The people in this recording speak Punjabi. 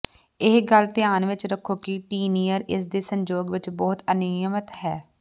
ਇਹ ਗੱਲ ਧਿਆਨ ਵਿੱਚ ਰੱਖੋ ਕਿ ਟੀਨਅਰ ਇਸ ਦੇ ਸੰਯੋਗ ਵਿੱਚ ਬਹੁਤ ਅਨਿਯਮਿਤ ਹੈ